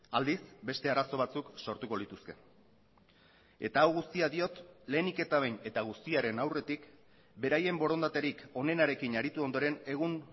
aldiz beste arazo batzuk sortuko lituzke eta hau guztia diot lehenik eta behin eta guztiaren aurretik beraien borondaterik honenarekin aritu ondoren egun